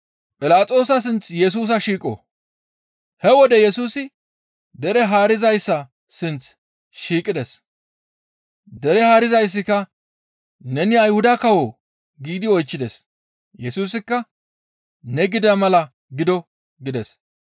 He wode Yesusi dere haarizayssa sinth shiiqides. Dere haarizayssika, «Neni Ayhuda kawoo?» giidi iza oychchides. Yesusikka, «Ne gida mala gido» gides.